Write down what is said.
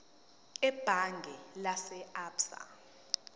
ebhange lase absa